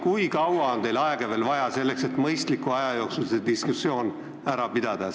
Kui kaua on teil aega veel vaja, selleks et mõistliku aja jooksul see diskussioon ära pidada?